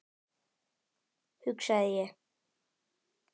hugsaði ég.